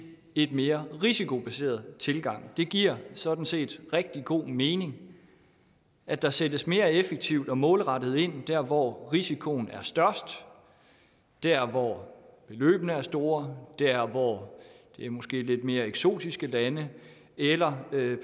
en mere risikobaseret tilgang det giver sådan set rigtig god mening at der sættes mere effektivt og målrettet ind der hvor risikoen er størst der hvor beløbene er store der hvor det måske lidt mere eksotiske lande eller hvor det